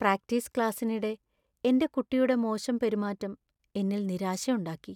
Practice ക്ലാസ്സിനിടെ എന്‍റെ കുട്ടിയുടെ മോശം പെരുമാറ്റം എന്നില്‍ നിരാശ ഉണ്ടാക്കി.